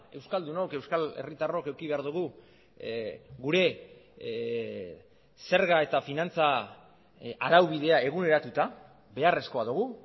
euskaldunok euskal herritarrok eduki behar dugu gure zerga eta finantza araubidea eguneratuta beharrezkoa dugu